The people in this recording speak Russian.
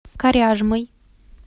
коряжмой